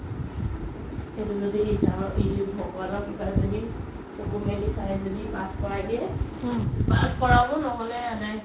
ভগৱান ক্ৰিপাত যদি চকু মেলি চাই যদি pass কৰাই দিয়ে pass কৰাব নহ'লে